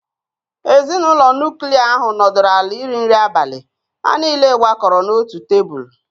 Ezinụlọ nuklia ahụ nọdụrụ ala iri nri abalị, ha niile gbakọrọ n'otu tebụl.